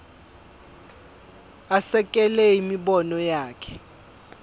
asekele imibono yakhe